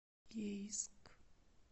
ейск